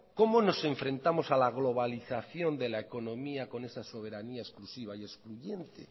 cómo nos enfrentamos a la globalización de la economía con esa soberanía exclusiva y excluyente